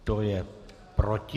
Kdo je proti?